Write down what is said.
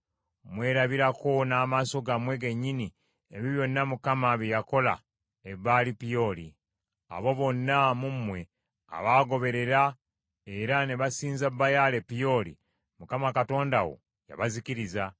Mwerabirako n’amaaso gammwe gennyini ebyo byonna Mukama bye yakola e Baali Peoli. Abo bonna mu mmwe abaagoberera, era ne basinza Baali e Peoli, Mukama Katonda wo yabazikiriza;